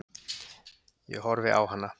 Ég horfi á hana.